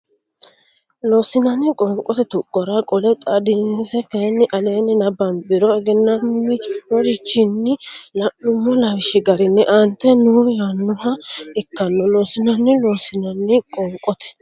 Loossinanni qoonqote tuqqora qole xaadinse kayinni aleenni nabbambiro egennaminorichinni la nummo lawishshi garinni aantete noo yaannoha ikkanno Loossinanni Loossinanni qoonqote.